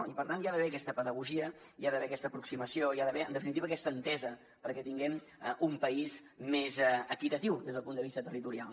i per tant hi ha d’haver aquesta pedagogia hi ha d’haver aquesta aproximació hi ha d’haver en definitiva aquesta entesa perquè tinguem un país més equitatiu des del punt de vista territorial